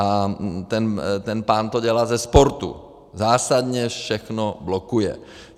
A ten pán to dělá ze sportu, zásadně všechno blokuje.